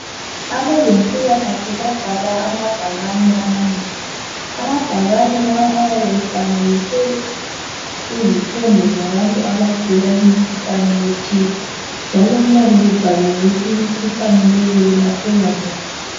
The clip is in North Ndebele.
Abezempilakahle babhale amabhakane amanengi. Amabhakane lawa ayabe efanekiswe izithombe zabantu abagulayo imkhuhlane ethile, njalo kuyabe kubhaliwe ukuthi imikhuhlane leyo yelapheka njani